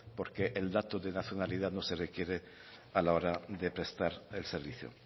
porque el dato de nacionalidad no se requiere a la hora de prestar el servicio